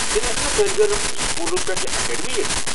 تیٚلہِ ہٮ۪کنا طٲلب علم سکوٗلہٕ پتہٕ اکاڈمی یتِھ؟